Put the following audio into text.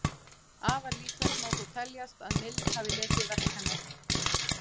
Afar líklegt má þó teljast að Mill hafi lesið verk hennar.